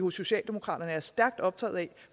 i socialdemokratiet er stærkt optagede